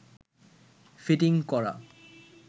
fitting করা